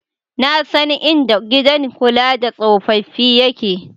Na san inda gidan kula da tsofaffi yake.